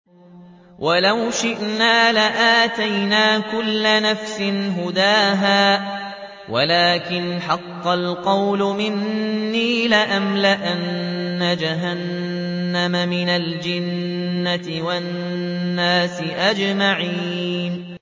وَلَوْ شِئْنَا لَآتَيْنَا كُلَّ نَفْسٍ هُدَاهَا وَلَٰكِنْ حَقَّ الْقَوْلُ مِنِّي لَأَمْلَأَنَّ جَهَنَّمَ مِنَ الْجِنَّةِ وَالنَّاسِ أَجْمَعِينَ